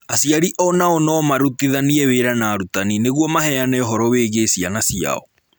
Aciari o nao no marutithanie wĩra na arutani nĩguo maheane ũhoro wĩgiĩ ciana ciao